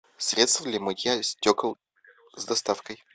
средство для мытья стекол с доставкой